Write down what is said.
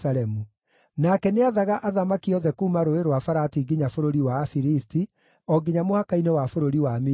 Nake nĩathaga athamaki othe kuuma Rũũĩ rwa Farati nginya bũrũri wa Afilisti, o nginya mũhaka-inĩ wa bũrũri wa Misiri.